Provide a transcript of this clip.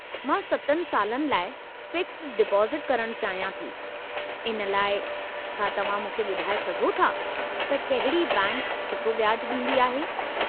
मां 7 सालनि लाइ फ़िक्स्डि डीपाज़टु करणु चाहियां थी; इन लाइ, छा तव्हां मूंखे ॿुधाए सघो था त कहिड़ी बैंकि सुठो व्याजु ॾींदी आहे?